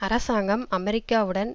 அரசாங்கம் அமெரிக்காவுடன்